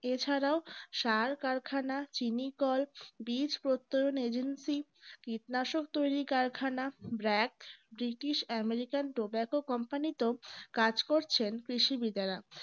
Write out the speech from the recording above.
এছাড়াও চাল কারখানা চিনি কল বীজ প্রত্যয়ন agency কীটনাশক তৈরি কারখানা britishamericantobaccocompany তেও কাজ করছেন কৃষিবিদেরা